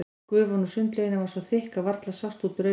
Gufan úr sundlauginni var svo þykk að varla sást út úr augum.